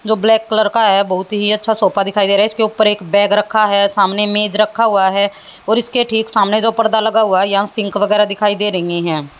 जो black colour का है बहुत ही अच्छा सोफा दिखाई दे रहा है इसके ऊपर एक बैग रखा है सामने मेज रखा हुआ है और इसके ठीक सामने जो पर्दा लगा हुआ है यहां सिंक वगैरह दिखाई दे रही हैं।